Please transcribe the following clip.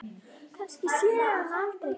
Kannski sé ég hann aldrei.